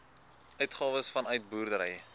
uitgawes vanuit boerdery